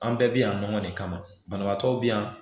An bɛɛ bɛ yan nɔgɔ de kama banabaatɔ bɛ yan